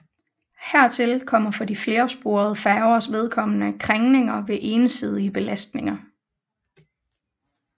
Hertil kommer for de flersporede færgers vedkommende krængninger ved ensidige belastninger